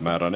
Määran